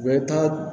U bɛ taa